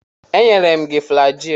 Enyela m ya flajil.